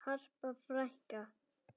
Harpa frænka.